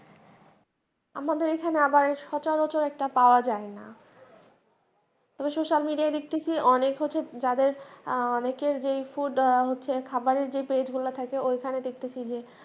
আমাদের এখানে আবার সচরাচর একটা পাওয়া যায় না । তবে সোশ্যাল মিডিয়ার দিক থেকে অনেক হচ্ছে, যাদের আহ অনেকের যেই ফুড, খাবারের যেই পেজ গুলা থাকে ওইখানে দেখতেছি যে